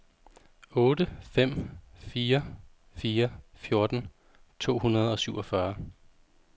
otte fem fire fire fjorten to hundrede og syvogfyrre